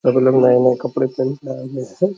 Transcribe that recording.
सब लोग नए-नए कपड़े पहन के आगे से --